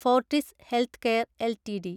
Fortis healthcare LTD